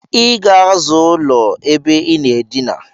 Iga aza ụlọ ebe inaa edina!